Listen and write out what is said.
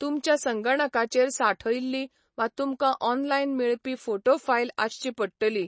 तुमच्या संगणकाचेर सांठयल्ली वा तुमकां ऑनलायन मेळपी फोटो फायल आसची पडटली.